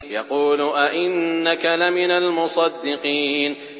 يَقُولُ أَإِنَّكَ لَمِنَ الْمُصَدِّقِينَ